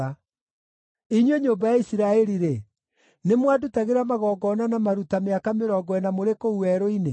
“Inyuĩ nyũmba ya Isiraeli-rĩ, nĩmwandutagĩra magongona na maruta mĩaka mĩrongo ĩna mũrĩ kũu werũ-inĩ?